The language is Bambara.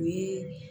U ye